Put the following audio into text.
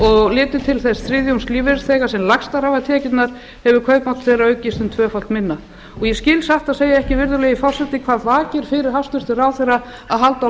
og litið til þess þriðjungs lífeyrisþega sem lægstar hafa tekjurnar hefur kaupmáttur þeirra aukist tvöfalt minna ég skil satt að segja ekki virðulegi forseti hvað vakir fyrir hæstvirtan ráðherra að halda á